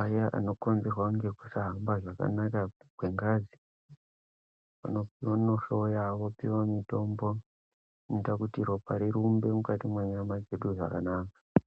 aya anokonzerwa nekusahamba zvakanaka kwengazi, vanohloya vopiva mitombo inoita kuti ropa rirumbe mukati mwenyama dzedu zvakanaka.